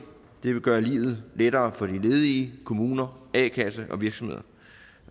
det vil gøre livet lettere for de ledige kommuner a kasser og virksomheder